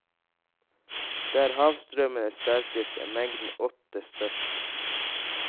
Der havstrømmen er sterkest, er mengden åte størst.